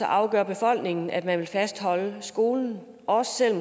afgør befolkningen så at man vil fastholde skolen også selv